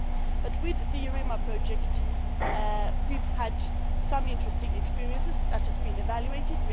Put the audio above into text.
But with the EUREMA project, we have had some interesting experiences and that has been evaluated.